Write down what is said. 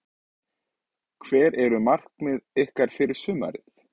Hver eru markmið ykkar fyrir sumarið?